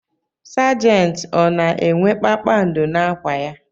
Sajenti ọ na-enwe kpakpando n'akwa ya?